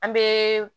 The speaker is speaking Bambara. An bɛ